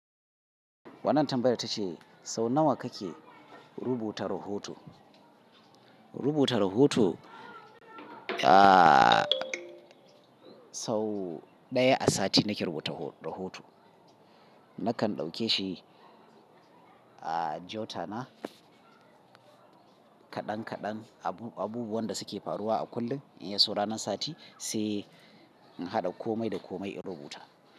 Wannan tambayar ta ce sau nawa kake rubuta rahoto? Rubuta rahoto, ah sau ɗaya a sati nake rubuta ho-rahoto. Nakan ɗauke shi a jotana kaɗan kaɗan abu-abubuwan da suke faruwa a kullum. In yaso ranar sati sai in haɗa komai da komai in rubuta.